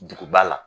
Duguba la